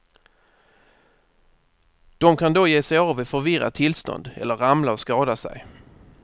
De kan då ge sig av i förvirrat tillstånd eller ramla och skada sig.